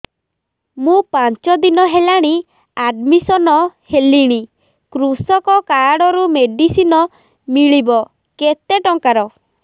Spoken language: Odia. ମୁ ପାଞ୍ଚ ଦିନ ହେଲାଣି ଆଡ୍ମିଶନ ହେଲିଣି କୃଷକ କାର୍ଡ ରୁ ମେଡିସିନ ମିଳିବ କେତେ ଟଙ୍କାର